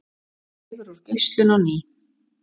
Dregur úr geislun á ný